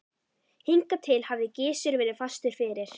Hingað til hafði Gizur verið fastur fyrir.